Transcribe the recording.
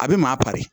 A bɛ maa pari